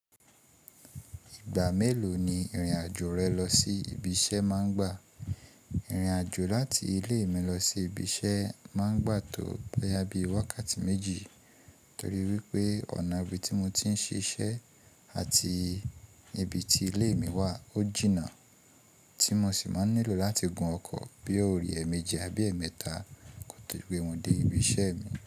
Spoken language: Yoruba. Ìgbà mélòó ni ìrìn àjò rẹ lọ sí ibi iṣẹ́ máa ń gbà? Ìrìn àjò láti ilé mi lọ sí ibi iṣẹ́ máa ń gbà tó boyá bí i wákàtí méjì, torí wípé ọ̀nà ibi tí mo ti ń ṣiṣẹ́ àti ibi tí ilé mi wà ó jìnnà, tí mo sì máa ń nílò láti gun ọkọ̀ bí òrì ẹ́eméji àbí ẹemẹ́ta kó tó gbé wọn dé ibi iṣẹ́ mi.